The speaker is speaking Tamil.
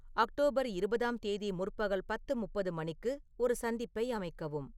அக்டோபர் இருபதாம் தேதி முற்பகல் பத்து முப்பது மணிக்கு ஒரு சந்திப்பை அமைக்கவும்